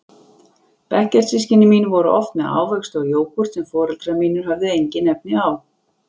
Bekkjarsystkini mín voru oft með ávexti og jógúrt sem foreldrar mínir höfðu engin efni á.